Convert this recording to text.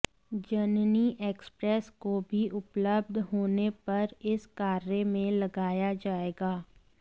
जननी express को भी उपलब्ध होने पर इस कार्य में लगाया जायेगा